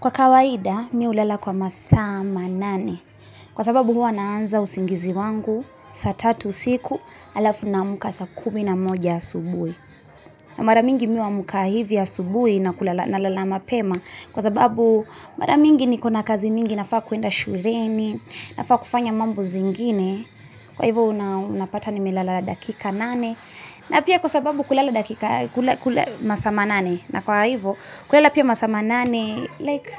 Kwa kawaida, mi hulala kwa masaa manane. Kwa sababu huwa naanza usingizi wangu saa tatu usiku halafu naamka saa kumi na moja asubui. Na mara mingi mi huamka hivi asubuhi na kulala nalala mapema. Kwa sababu mara mingi nikona kazi mingi nafaa kuenda shuleni, nafaa kufanya mambo zingine. Kwa hivyo unapata nimelala dakika nane. Na pia kwa sababu kulala dakika masaa manane. Na kwa hivo, kulala pia masaa manane, like,